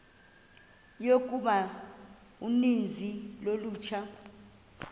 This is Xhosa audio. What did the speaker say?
yokuba uninzi lolutsha